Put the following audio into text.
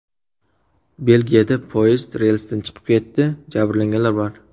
Belgiyada poyezd relsdan chiqib ketdi, jabrlanganlar bor.